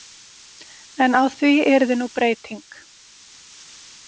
En á því yrði nú breyting.